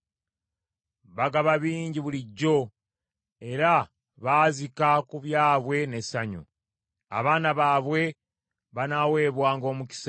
Bagaba bingi bulijjo, era baazika ku byabwe n’essanyu. Abaana baabwe banaaweebwanga omukisa.